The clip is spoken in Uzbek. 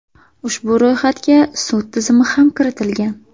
Ushbu ro‘yxatga sud tizimi ham kiritilgan .